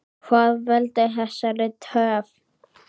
Hvað veldur þessari töf?